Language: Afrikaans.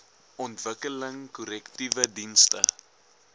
ontwikkeling korrektiewe dienste